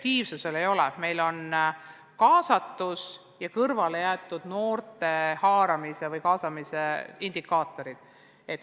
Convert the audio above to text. Indikaatoriteks on kaasatus, sh seni kõrvale jäänud noorte ühisellu haaramine.